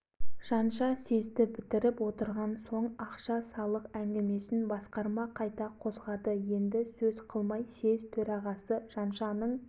деген ғұбайдолла әлібекұлы жолдыбайұлы қасаболатұлы кенжеұлы қаратілеуұлдарында үн жоқ бұлар басқармаға таяу отырған жайды көріп отыр